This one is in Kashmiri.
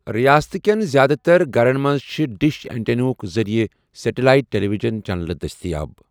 ریاستہٕ کٮ۪ن زیادٕ تر گھرن منٛز چھِ ڈِش اینٹینا ہٕک ذریعہٕ سیٹلائٹ ٹیلی وِجن چنلہٕ دٔستِیاب۔